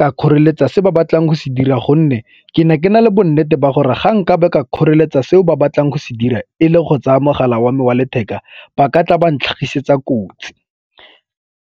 ka kgoreletsa se ba batlang go se dira gonne ke ne ke na le bonnete ba gore ga nka ba ka kgoreletsa seo ba batlang go se dira e le go tsaya mogala wa me wa letheka, ba ka tla ba ntlhagisetsa kotsi.